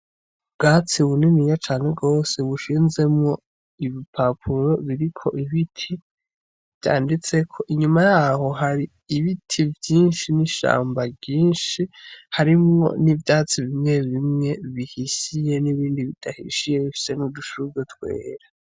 Ubwatsi bwinshi cane gose bushinzemwo ibipapuro biriko ibiti vyanditseko, inyuma yaho hari ishamba ryinshi harimwo ni vyatsi bimwe bimwe bihishiye n'ibindi bidahishiye bifise n'udushurwe twera.